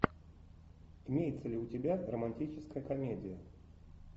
имеется ли у тебя романтическая комедия